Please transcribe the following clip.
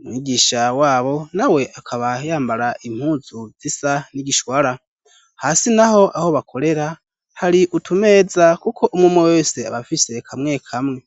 Umwigisha wabo na we akaba yambara impuzu zisa n'igishwara. Hasi naho aho bakorera hari utumeza kuko umwe umwe wese abafise kamwe kamwe.